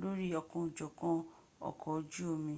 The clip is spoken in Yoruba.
lórí ọ̀kanòjọ̀kan ọkọ̀ ojú omi